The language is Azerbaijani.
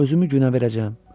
Özümü günə verəcəyəm.